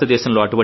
భారతదేశంలో